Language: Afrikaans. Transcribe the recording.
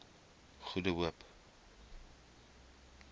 goede hoop